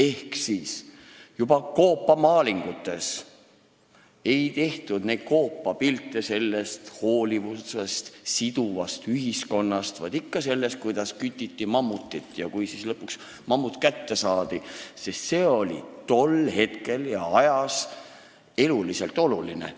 Võtame kas või koopamaalingud: juba siis ei tehtud pilte hoolivusest ja siduvast ühiskonnast, vaid ikka mammuti küttimisest ja sellest, kuidas ta lõpuks kätte saadi, sest see oli tollel ajal eluliselt oluline.